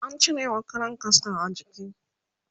an cirewa Karan kaska a jiki